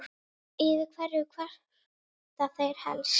Yfir hverju kvarta þeir helst?